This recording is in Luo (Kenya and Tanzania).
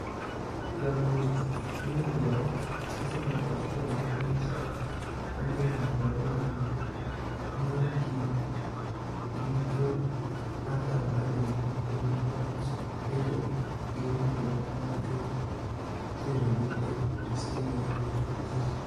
Jagoch/nig'inijo Arsenial kod Switzerlanid, Graniit Xhaka, ma jahiginii 27, nii e kinid gi jo Hertha Berlini e wi wach bedo gi winijruok ma dhi terogi e Bunidesliga dwe mabiro.